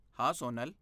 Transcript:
ਹਾਂ, ਸੋਨਲ।